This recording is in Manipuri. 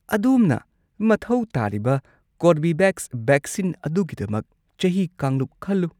ꯑꯗꯣꯝꯅ ꯃꯊꯧ ꯇꯥꯔꯤꯕ ꯀꯣꯔꯕꯤꯚꯦꯛꯁ ꯚꯦꯛꯁꯤꯟ ꯑꯗꯨꯒꯤꯗꯃꯛ ꯆꯍꯤ ꯀꯥꯡꯂꯨꯞ ꯈꯜꯂꯨ꯫